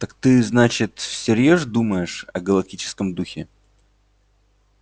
так ты значит всерьёз думаешь о галактическом духе